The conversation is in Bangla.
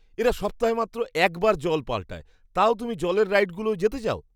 এরা সপ্তাহে মাত্র একবার জল পাল্টায়, তাও তুমি জলের রাইডগুলোয় যেতে চাও?